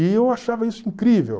E eu achava isso incrível.